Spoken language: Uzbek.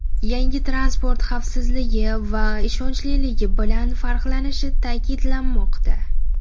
Yangi transport xavfsizligi va ishonchliligi bilan farqlanishi ta’kidlanmoqda.